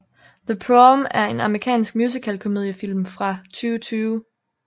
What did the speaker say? The Prom er en amerikansk musical komediefilm fra 2020